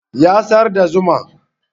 Ya sayar da zuma